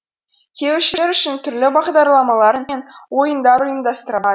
келушілер үшін түрлі бағдарламалар мен ойындар ұйымдастырылады